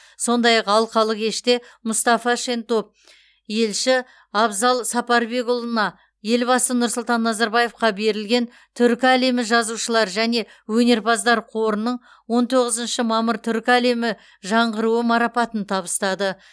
сондай ақ алқалы кеште мұстафа шентоп елші абзал сапарбекұлына елбасы нұрсұлтан назарбаевқа берілген түркі әлемі жазушылар және өнерпаздар қорының он тоғызыншы мамыр түркі әлемі жаңғыруы марапатын табыстады